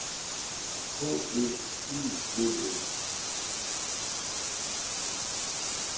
H E I D E